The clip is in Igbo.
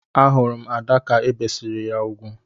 A hurum Ada ka ebisiri ya úgwù.